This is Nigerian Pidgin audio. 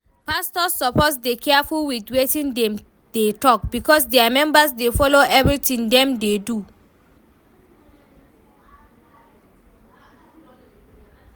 Pastors suppose dey careful with wetin dem dey talk because dia members dey follow everything dem dey do